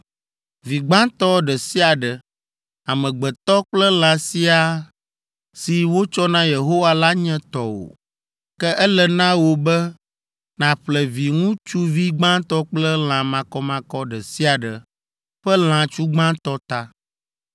Vi gbãtɔ ɖe sia ɖe, amegbetɔ kple lã siaa si wotsɔ na Yehowa la nye tɔwò. Ke ele na wò be nàƒle viŋutsuvi gbãtɔ kple lã makɔmakɔ ɖe sia ɖe ƒe lãtsu gbãtɔ ta.